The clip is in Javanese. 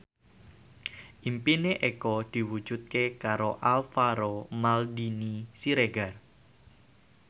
impine Eko diwujudke karo Alvaro Maldini Siregar